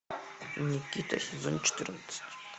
никита сезон четырнадцать